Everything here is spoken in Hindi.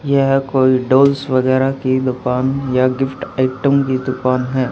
यह कोई डॉल्स वगैरा की दुकान या गिफ्ट आइटम की दुकान है।